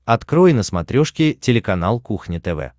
открой на смотрешке телеканал кухня тв